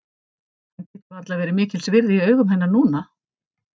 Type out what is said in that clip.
Hann getur varla verið mikils virði í augum hennar núna.